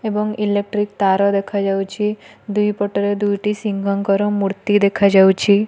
ଏବଂ ଇଲେକ୍ଟ୍ରିକ ତାର ଦେଖାଯାଉଛି ଦୁଇ ପଟରେ ଦୁଇଟି ସିଂଘ ଙ୍କର ମୂର୍ତ୍ତି ଦେଖାଯାଉଛି।